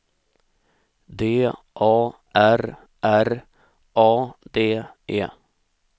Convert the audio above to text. D A R R A D E